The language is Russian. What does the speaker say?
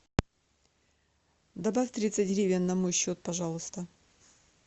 добавь тридцать гривен на мой счет пожалуйста